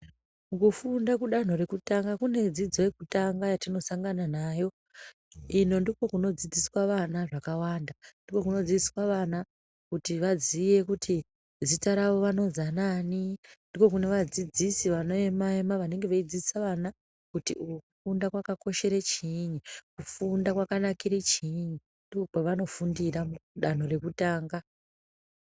Kufunda kudanho rekutanga kune dzidzo yekutanga yatinosangana nayo. Ino ndikwo kunodzidziswa vana zvakawanda, ndikwo kunodzidziswa kuti vaziye kuti zita ravo vanozi anaani, ndikwo kune vadzidzisi vanoema ema vanenge veidzidzisa vana kuti kufunda kwakakoshera chiinyi, kufunda kwakanakira chiinyi ndokwevanofundira kudanho rekutanga.